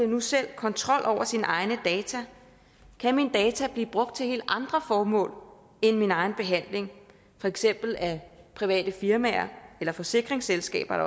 nu selv kontrol over sine egne data kan mine data blive brugt til helt andre formål end min egen behandling for eksempel af private firmaer eller forsikringsselskaber